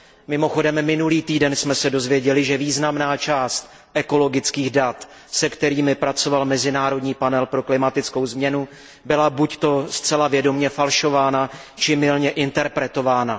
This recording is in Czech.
Mimochodem minulý týden jsme se dozvěděli, že významná část ekologických dat, se kterými pracoval Mezinárodní panel pro klimatickou změnu, byla buďto zcela vědomě falšována, či mylně interpretována.